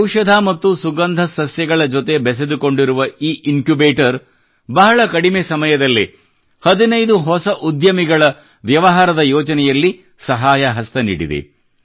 ಔಷಧ ಮತ್ತು ಸುಗಂಧ ಸಸ್ಯಗಳ ಜೊತೆ ಬೆಸೆದುಕೊಂಡಿರುವ ಈ ಇನ್ಕ್ಯುಬೇಟರ್ ಬಹಳ ಕಡಿಮೆ ಸಮಯದಲ್ಲೇ ಹದಿನೈದು ಹೊಸ ಉದ್ಯಮಿಗಳ ವ್ಯವಹಾರದ ಯೋಜನೆಗಳಲ್ಲಿ ಸಹಾಯಹಸ್ತ ನೀಡಿದೆ